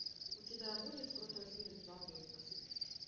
у тебя будет крутой фильм в жанре ужасы